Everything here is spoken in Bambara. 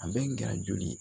A bɛ n gɛrɛ joli ye